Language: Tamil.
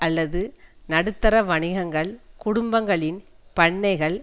அல்லது நடுத்தர வணிகங்கள் குடும்பங்களின் பண்ணைகள்